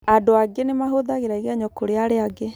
Andũ angĩ nĩ mahũthagĩra igenyo kũrĩ arĩa angĩ